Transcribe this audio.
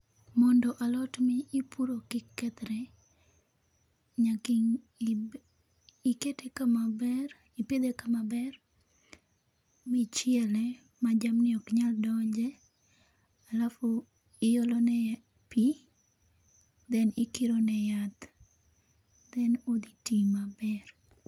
Mondo alot mi ipuro kik kethre, nyaka ii ii ikete kama ber, ipidhe kama ber ma ichiele ma jamni ok nyal donje ,alafu iolone pii then ikiro ne yath then odhi tii maber